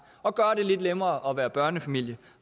og gøre det lidt nemmere at være børnefamilie